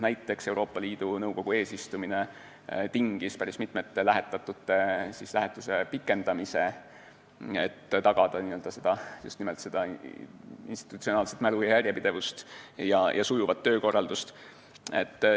Näiteks tingis Euroopa Liidu Nõukogu eesistumine päris mitme lähetatu lähetuse pikendamise, just nimelt selleks, et tagada institutsionaalset mälu, järjepidevust ja sujuvat töökorraldust.